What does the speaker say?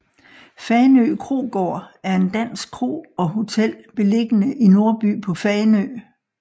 Fanø Krogaard er en dansk kro og hotel beliggende i Nordby på Fanø